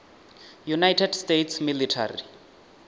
united states military